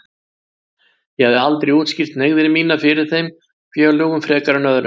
Ég hafði aldrei útskýrt hneigðir mínar fyrir þeim félögunum frekar en öðrum.